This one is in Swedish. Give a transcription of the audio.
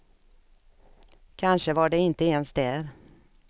Kanske var de inte ens där.